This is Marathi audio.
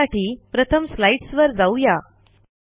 त्यासाठी प्रथम स्लाईडस वर जाऊ या